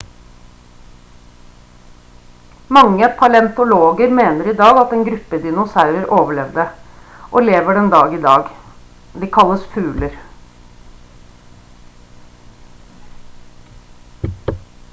mange paleontologer mener i dag at én gruppe dinosaurer overlevde og lever den dag i dag de kalles fugler